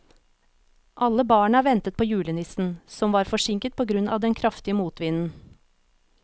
Alle barna ventet på julenissen, som var forsinket på grunn av den kraftige motvinden.